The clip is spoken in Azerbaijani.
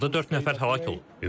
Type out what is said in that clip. Hazırda dörd nəfər həlak olub.